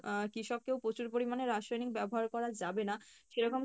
আহ কৃষক কেও প্রচুর পরিমাণে রাসায়নিক ব্যাবহার করা যাবে না সেরকম